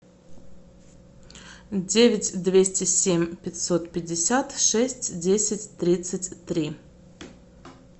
девять двести семь пятьсот пятьдесят шесть десять тридцать три